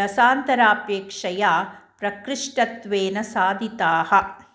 रसान्तरापेक्षया प्रकृष्टत्वेन साधिताः